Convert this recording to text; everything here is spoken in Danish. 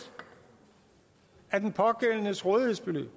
af den pågældendes rådighedsbeløb